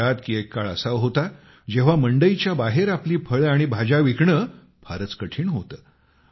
ते म्हणतात की एक काळ असा होता जेव्हा मंडईच्या बाहेर आपली फळे आणि भाज्या विकणे फारच कठीण होते